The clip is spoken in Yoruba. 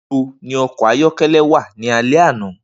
Nibo ni ọkọ ayọkẹlẹ wa ni alẹ ana?